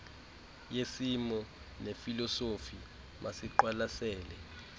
yesimo nefilosofi masiqwalasele